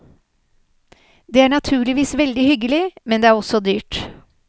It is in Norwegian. Det er naturligvis veldig hyggelig, men det er også dyrt.